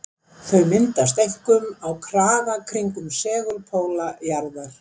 Þau myndast einkum á kraga kringum segulpóla jarðar.